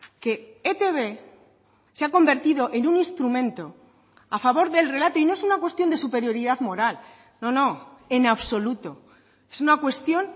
que etb se ha convertido en un instrumento a favor del relato y no es una cuestión de superioridad moral no no en absoluto es una cuestión